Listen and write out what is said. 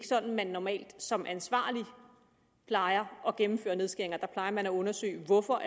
sådan man normalt som ansvarlig plejer at gennemføre nedskæringer der plejer man at undersøge hvorfor